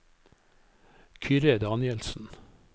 Kyrre Danielsen